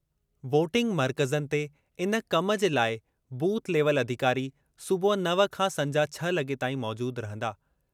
Voting मर्कज़नि ते इन कमु जे लाइ बूथ लेवल अधिकार सुबुह नव खां संझा छह लगे॒ ताईं मौजूदु रहंदा।